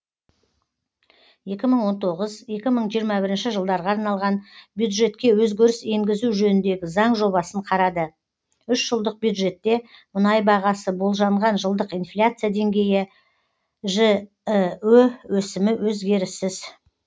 екі мың он тоғыз екі мың жиырма бірінші жылдарға арналған бюджетке өзгеріс енгізу жөніндегі заң жобасын қарады үш жылдық бюджетте мұнай бағасы болжанған жылдық инфляция деңгейі жіө өсімі өзгеріссіз